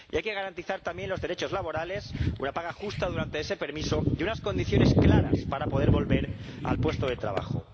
Y hay que garantizar también los derechos laborales, una paga justa durante ese permiso y unas condiciones claras para poder volver al puesto de trabajo.